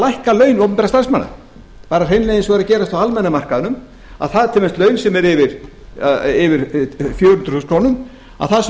lækka laun opinberra starfsmanna bara hreinlega eins og er að gerast á almenna markaðnum að til dæmis laun sem eru yfir fjögur hundruð þúsund krónur það sem